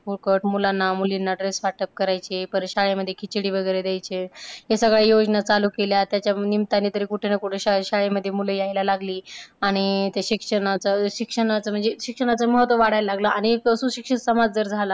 फुकट मुलांना मुलींना dress वाटप करायचे. परत शाळेमध्ये खिचिडी वगैरे द्यायचे. ह्या सगळ्या योजना चालू केल्या. त्याच्या निमताने तरी कुठं ना कुठं शाळेमध्ये मुलं यायला लागली. आणि ते शिक्षणाचं शिक्षणाचं म्हणजे शिक्षणाचं महत्त्व वाढायला लागलं आणि सुशिक्षित समाज जर झाला.